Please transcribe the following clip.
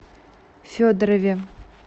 федорове